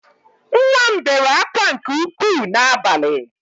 Nwa m bere akwa nke ukwu n’abalị